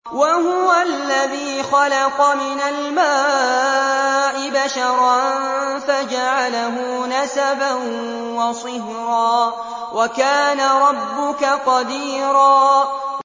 وَهُوَ الَّذِي خَلَقَ مِنَ الْمَاءِ بَشَرًا فَجَعَلَهُ نَسَبًا وَصِهْرًا ۗ وَكَانَ رَبُّكَ قَدِيرًا